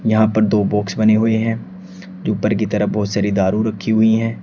यहां पर दो बॉक्स बने हुए हैं जो ऊपर की तरफ बहोत सारी दारू रखी हुई है।